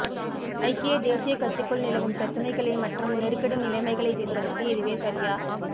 ஐக்கிய தேசியக் கட்சிக்குள் நிலவும் பிரச்சினைகள் மற்றும் நெருக்கடி நிலைமைகளை தீர்ப்பதற்கு இதுவே சரியா